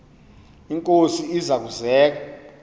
inkosi iza kuzek